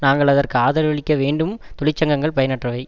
நாங்கள் அதற்கு ஆதரவளிக்க வேண்டும் தொழிற்சங்கங்கள் பயனற்றவை